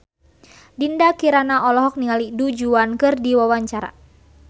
Dinda Kirana olohok ningali Du Juan keur diwawancara